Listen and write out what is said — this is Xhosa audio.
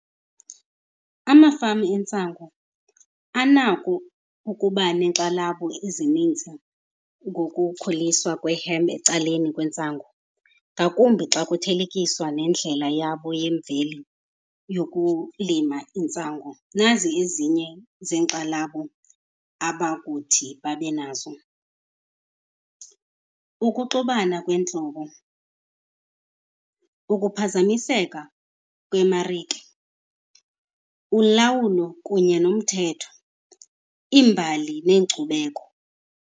Amafama entsango anako ukuba neenkxalabo ezininzi ngokukhuliswa kwe-hemp ecaleni kwentsango, ngakumbi xa kuthelekiswa nendlela yabo yemveli yokulima intsango. Nazi ezinye zeenkxalabo abakuthi babe nazo. Ukuxubana kweentlobo, ukuphazamiseka kwemarike, ulawulo kunye nomthetho, iimbali neenkcubeko.